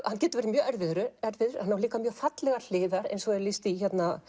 hann getur verið erfiður en á líka fallegar hliðar eins og er lýst í